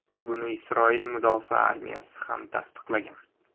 Buni Isroil mudofaa armiyasi ham tasdiqlagan.